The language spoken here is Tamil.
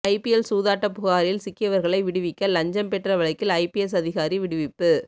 ஐபிஎல் சூதாட்ட புகாரில் சிக்கியவர்களை விடுவிக்க லஞ்சம் பெற்ற வழக்கில் ஐபிஎஸ் அதிகாரி விடுவிப்பு